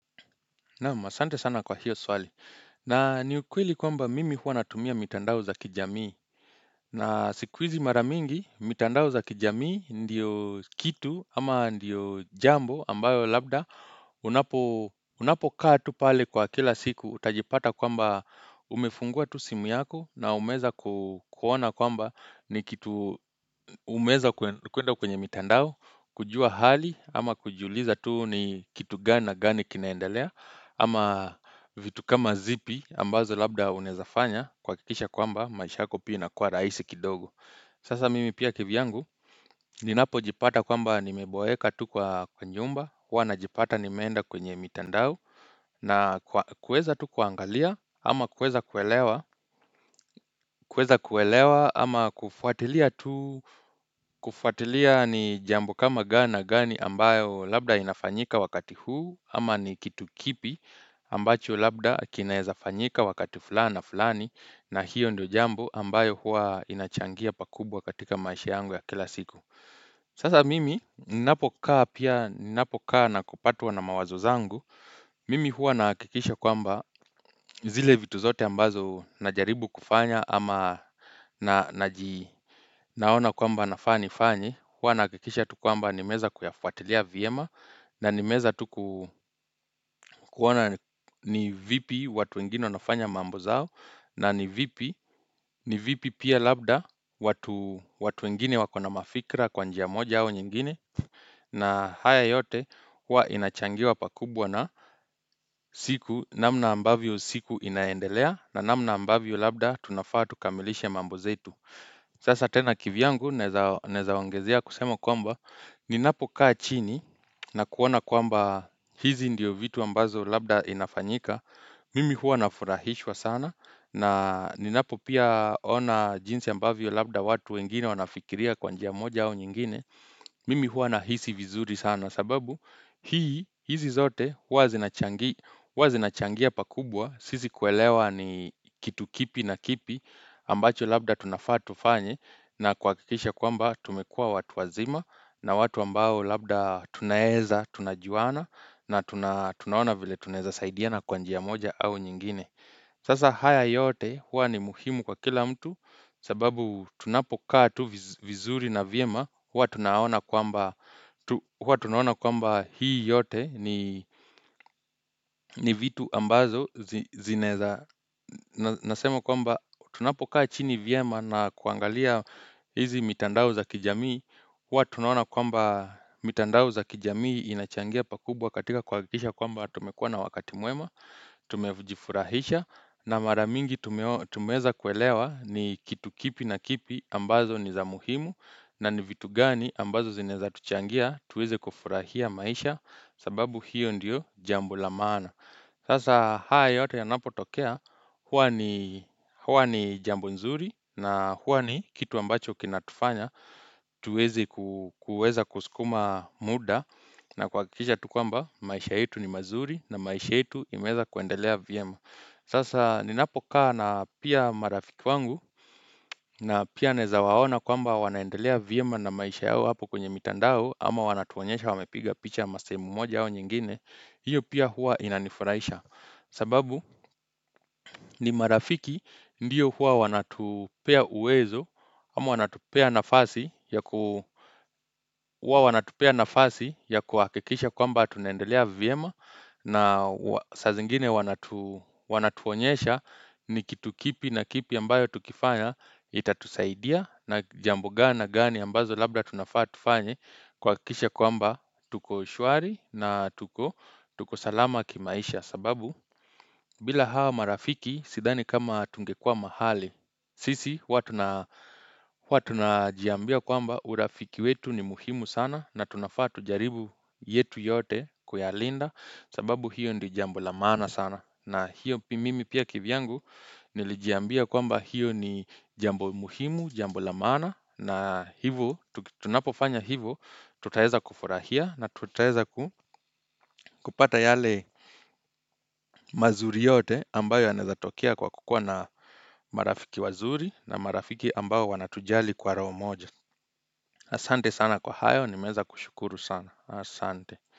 Naam asante sana kwa hiyo swali. Na ni ukweli kwamba mimi huwa natumia mitandao za kijamii. Na sikuizi maramingi, mitandao za kijamii ndio kitu ama ndio jambo ambayo labda unapo kaa tu pale kwa kila siku utajipata kwamba umefungua tu simu yako na umeza kuona kwamba ni kitu umeza kuenda kwenye mitandao, kujua hali ama kujiuliza tu ni kitu gani gani kinaendelea Ama vitu kama zipi ambazo labda unaezafanya kuakikisha kwamba maisha yako pia inakuwa raisi kidogo Sasa mimi pia kivyangu Ninapo jipata kwamba nimeboeka tu kwa nyumba huwa na jipata nimeenda kwenye mitandao na kueza tu kuangalia ama kueza kuelewa kueza kuelewa ama kufuatilia tu kufuatilia ni jambo kama gani na gani ambayo labda inafanyika wakati huu Ama ni kitu kipi ambacho labda kinaeza fanyika wakati fulani na fulani na hiyo ndio jambo ambayo huwa inachangia pakubwa katika maisha yangu ya kila siku Sasa mimi ninapokaa na kupatwa na mawazo zangu Mimi huwa naakikisha kwamba zile vitu zote ambazo najaribu kufanya ama naona kwamba nafaa ni fanye huwa naakikisha tu kwamba ni meeza kuyafuatilia vyema na ni meeza tuku kuona ni vipi watu wengine wanafanya mambo zao na ni vipi ni vipi pia labda watu wengine wakona mafikra kwanjia moja au nyingine na haya yote huwa inachangiwa pakubwa na siku namna ambavyo siku inaendelea na namna ambavyo labda tunafaa tukamilishe mambo zetu Sasa tena kivyangu naeza ongezea kusemwa kwamba ninapo kaa chini na kuona kwamba hizi ndio vitu ambazo labda inafanyika, mimi huwa nafurahishwa sana na ninapo pia ona jinsi ambavyo labda watu wengine wanafikiria kwa njia moja au nyingine, mimi huwa na hisi vizuri sana sababu hizi zote huwa zinachangia pakubwa, sisi kuelewa ni kitu kipi na kipi ambacho labda tunafaa tufanye. Na kuakikisha kwamba tumekuwa watu wazima na watu ambao labda tunaeza, tunajuana na tunaona vile tunaeza saidiana kwa njia moja au nyingine. Sasa haya yote huwa ni muhimu kwa kila mtu sababu tunapokaa tu vizuri na vyema, huwa tunaona kwamba hii yote ni vitu ambazo zinaeza. Na nasema kwamba tunapokaa chini vyema na kuangalia hizi mitandao za kijamii huwa tunaona kwamba mitandao za kijamii inachangia pakubwa katika kuakikisha kwamba tumekuwa na wakati mwema Tumejifurahisha na maramingi tumeeza kuelewa ni kitu kipi na kipi ambazo ni za muhimu na ni vitu gani ambazo zinaeza tuchangia tuweze kufurahia maisha sababu hiyo ndiyo jambo la maana Sasa haya yote ya napo tokea huwa ni jambo nzuri na huwa ni kitu ambacho kinatufanya tuweze kuweza kuskuma muda na kuakikisha tu kwamba maisha yetu ni mazuri na maisha yetu imeeza kuendelea vyema. Sasa ninapokaa na pia marafiki wangu na pia naeza waona kwamba wanaendelea vyema na maisha yao hapo kwenye mitandao ama wanatuonyesha wamepiga picha masehemu moja au nyingine. Hiyo pia huwa inanifuraisha sababu ni marafiki ndio huwa wanatupea uwezo Ama wanatupea nafasi ya huwa wanatupea nafasi ya kuakikisha kwamba tunaendelea vyema na sa zingine wanatuonyesha ni kitu kipi na kipi ambayo tukifanya Itatusaidia na jambo gani na gani ambazo labda tunafaa tufanye kuakikisha kwamba tuko shwari na tuko salama kimaisha sababu, bila hawa marafiki, sidhani kama tungekuwa mahali Sisi, huwa tu najiambia kwamba urafiki wetu ni muhimu sana na tunafaa tujaribu yetu yote kuyalinda sababu, hiyo ndio jambo la maana sana na hiyo pimi pia kivyangu nilijiambia kwamba hiyo ni jambo muhimu, jambo la maana na hivo, tunapofanya hivo, tutaeza kufurahia na tutaeza kupata yale mazuri yote ambayo yanaezatokea kwa kukuwa na marafiki wazuri na marafiki ambao wanatujali kwa roho moja Asante sana kwa hayo, nimeeza kushukuru sana, asante.